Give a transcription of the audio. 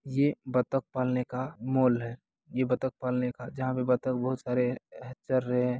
ये बतख पालने का मॉल है ये बतख पालने का जहाँ पे बतख बोहोत सारे है चर रहे हैं।